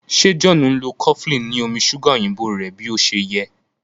ṣe John nlọ cofflin ni omí ṣuga òyìnbó rẹ bí ọṣẹ yé?